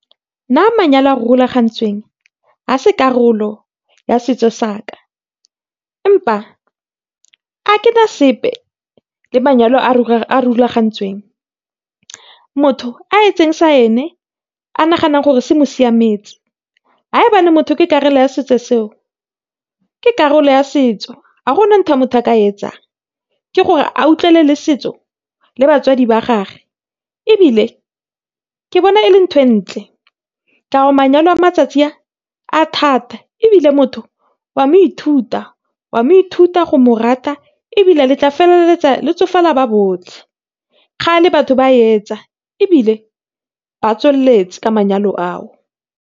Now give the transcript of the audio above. Nna manyalo a a rulagantsweng ga e se karolo ya setso saka empa a ke na sepe le manyalo a a rulagantsweng. Motho a etse se ene a naganang gore se mo siametse motho ke karolo ya setso seo, ke karolo ya setso ga go na ntho e motho a ka e etsang. Ke gore a setso le batswadi ba gage ebile ke bona e le ntho e ntle ka gore manyalo a matsatsi a a thata ebile motho o a mo ithuta, o a mo ithuta go mo rata ebile le tla feleletsa le tsofala ba botlhe. Kgale batho ba e etsa ebile ba tswelletse tsa manyalo ao.